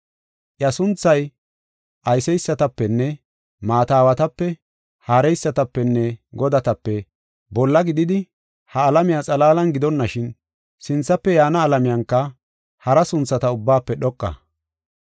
Iya sunthay, ayseysatapenne maata aawatape, haareysatapenne godatape, bolla gididi ha alamiya xalaalan gidonashin, sinthafe yaana alamiyanka hara sunthata ubbaafe dhoqa.